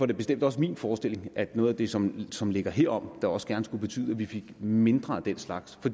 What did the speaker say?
det bestemt også min forestilling at noget af det som som ligger herom også gerne skulle betyde at vi fik mindre af den slags